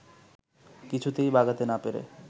কিছুতেই বাগাতে না পেরে